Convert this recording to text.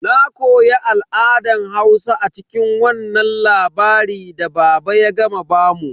Na koya al'adan Hausa a cikin wannan labari da baba ya gama bamu.